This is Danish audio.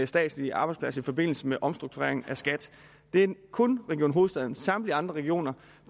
statslige arbejdspladser i forbindelse med omstruktureringen af skat det er kun region hovedstaden samtlige andre regioner